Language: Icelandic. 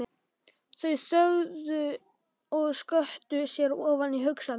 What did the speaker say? Þau þögðu og sökktu sér ofan í hugsanir.